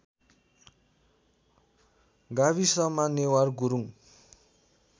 गाविसमा नेवार गुरुङ